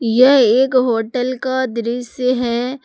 यह एक होटल का दृश्य है।